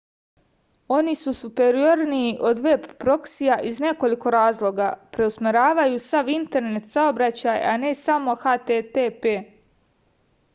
oni su superiorniji od veb proksija iz nekoliko razloga preusmeravaju sav internet saobraćaj a ne samo http